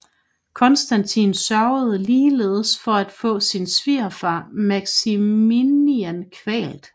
Konstantin sørgede ligeledes for at få sin svigerfar Maximinian kvalt